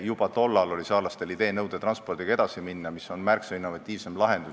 Juba tollal oli saarlastel idee nõudetranspordiga edasi minna, mis on märksa innovatiivsem lahendus.